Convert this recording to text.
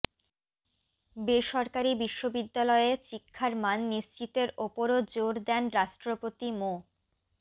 বেসরকারি বিশ্ববিদ্যালয়ে শিক্ষার মান নিশ্চিতের ওপরও জোর দেন রাষ্ট্রপতি মো